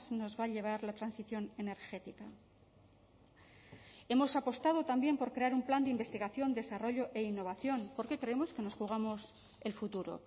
nos va a llevar la transición energética hemos apostado también por crear un plan de investigación desarrollo e innovación porque creemos que nos jugamos el futuro